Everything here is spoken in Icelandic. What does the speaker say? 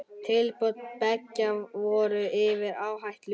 Tilboð beggja voru yfir áætlun.